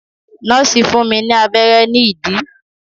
Nọ́ọ̀sì fún mi ní abẹ́rẹ́ ní ìdí.